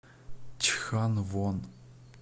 чханвон